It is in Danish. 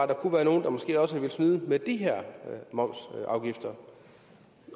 der kunne være nogle der måske også har villet snyde med de her momsafgifter